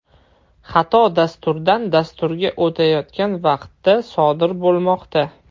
Xato dasturdan dasturga o‘tayotgan vaqtda sodir bo‘lmoqda.